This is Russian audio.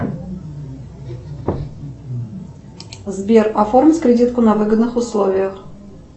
сбер оформить кредитку на выгодных условиях